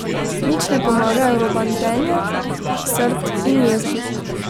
Nič ne pomagajo robantenje, srd in jeza.